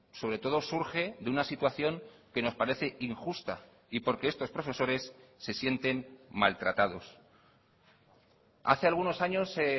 sobre todo surge de una situación que nos parece injusta y porque estos profesores se sienten maltratados hace algunos años se